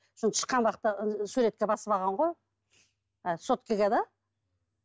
сосын шыққан уақытта суретке басып алған ғой а соткаға да